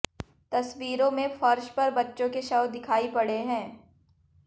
तसवीरों में फर्श पर बच्चों के शव दिखाई पड़े हैं